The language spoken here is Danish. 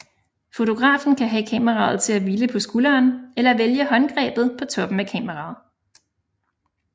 Fotografen kan have kameraet til at hvile på skulderen eller vælge håndgrebet på toppen af kameraet